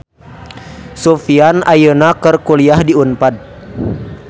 Sufyan ayeuna keur kuliah di Unpad